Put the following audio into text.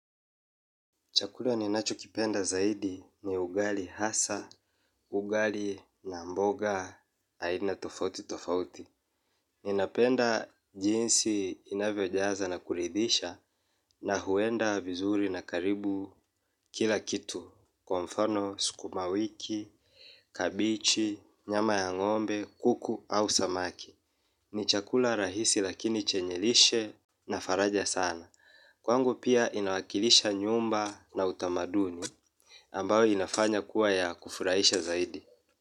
Chakula ninacho kipenda zaidi ni ugali hasa, ugali na mboga, aina tofauti tofauti. Ninapenda jinsi inavyojaza na kuridisha na huenda vizuri na karibu kila kitu. Kwa mfano, skumawiki, kabichi, nyama ya ngombe, kuku au samaki. Ni chakula rahisi lakini chenye lishe na faraja sana. Kwangu pia inawakilisha nyumba na utamaduni. Ambayo inafanya kuwa ya kufurahisha zaidi.